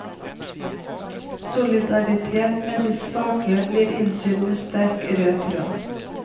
Solidaritet med de svake ble innsydd med sterk, rød tråd.